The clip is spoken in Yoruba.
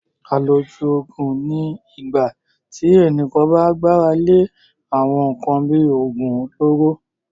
Àlòjù Òògùn ni ìgbà tí ẹnìkan bá gbára lé àwọn nkan bíi oògùn olóró